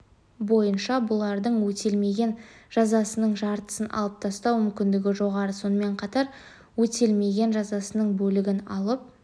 бойынша бұлардың өтелмеген жазасының жартысын алып тастау мүмкіндігі жоғары сонымен қатар өтелмеген жазасының бөлігін алып